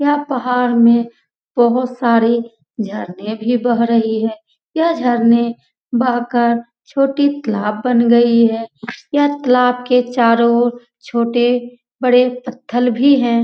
यह पहाड़ में बहुत सारे झरने भी बेह रहे है यह झरने बह कर तालाब बन गयी है यह तालाब के चारो ओर छोटे बड़े पत्थर भी है ।